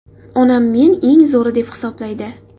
Onam men eng zo‘ri deb hisoblaydi.